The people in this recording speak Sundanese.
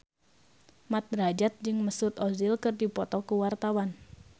Mat Drajat jeung Mesut Ozil keur dipoto ku wartawan